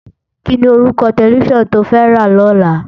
Kini órúkò tèlèfisán tó fè rá lòlá?